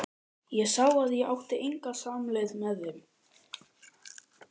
Ég sá að ég átti enga samleið með þeim.